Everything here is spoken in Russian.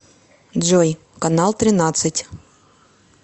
джой канал тринадцать